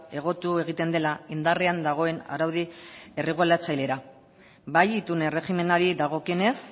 egotu egiten dela indarrean dagoen araudi erregulatzailera bai itun erregimenari dagokionez